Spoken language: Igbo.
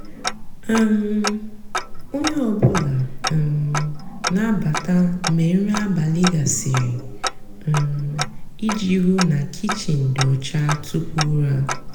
um ónyé ọ bụlà um nà-àbata mgbe nrì abálị gasịrị um íjì hú ná kichin dị ọcha túpú úrá.